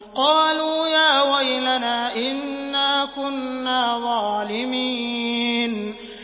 قَالُوا يَا وَيْلَنَا إِنَّا كُنَّا ظَالِمِينَ